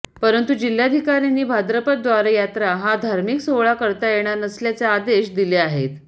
परंतु जिल्हाधिकाऱ्यांनी भाद्रपद द्वारयात्रा हा धार्मिक सोहळा करता येणार नसल्याचे आदेश दिले आहेत